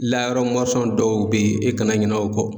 Layɔrɔ dɔw be yen e kana ɲinɛ o kɔ.